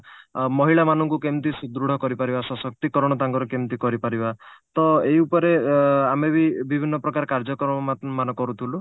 ମହିଳା ମାନଙ୍କୁ କେମିତି ସୁଦୃଢ କରିପାରିବା ସଶକ୍ତିକରଣ ତାଙ୍କର କେମିତି କରିପାରିବା ତ ଏଇ ଉପରେ ଆ ଆମେ ବି ବିଭିନ୍ନ ପ୍ରକାର କାର୍ଯ୍ୟକ୍ରମ ମା ମାନେ କରୁଥିଲୁ